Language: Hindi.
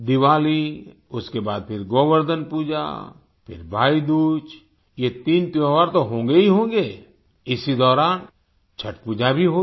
दिवाली उसके बाद फिर गोवर्धन पूजा फिर भाईदूज ये तीन त्योहार तो होंगेहीहोंगे इसी दौरान छठ पूजा भी होगी